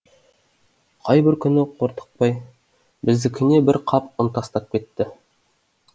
қай бір күні қортықбай біздікіне бір қап ұн тастап кетті